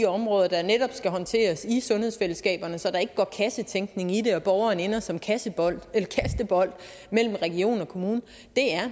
områder der netop skal håndteres i sundhedsfællesskaberne så der ikke går kassetænkning i og borgeren ender som kastebold mellem region og kommune